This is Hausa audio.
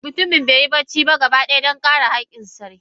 Mutumin beyi bacci ba gaba daya Dan kare sarkin.